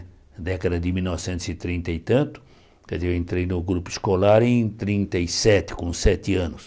Na década de mil novecentos e trinta e tanto, quer dizer eu entrei no grupo escolar em trinta e sete, com sete anos.